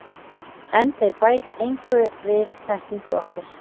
En þeir bæta engu við þekkingu okkar.